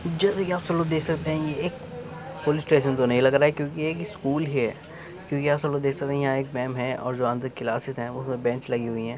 '' जैसे के आप सब लोग देख सकते हैं। ये एक पुलिस स्टेशन तो नहीं लग रहा है क्योंकि एक स्कूल है क्योंकि आप सब लोग यहाँ देख सकते हैं यहाँ एक मेम है और जो अंदर कलसेस हैं वहाँ बेंच लगी हुई हैं। ''